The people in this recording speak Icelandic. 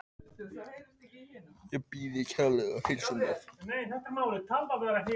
Ég bið kærlega að heilsa honum afa þínum.